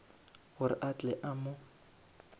gore a tle a mo